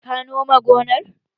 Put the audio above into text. Ka nome gonar?